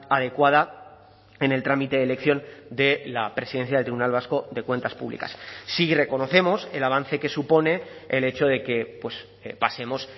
adecuada en el trámite de elección de la presidencia del tribunal vasco de cuentas públicas sí reconocemos el avance que supone el hecho de que pasemos